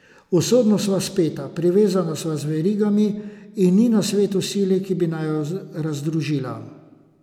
Usodno sva speta, privezana sva z verigami, in ni na svetu sile, ki bi naju razdružila.